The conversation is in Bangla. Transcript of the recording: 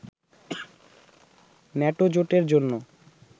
ন্যাটো জোটের জন্য